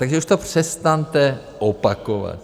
Takže už to přestaňte opakovat!